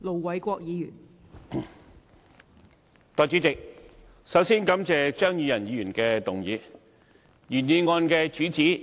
代理主席，我首先感謝張宇人議員提出這項議案。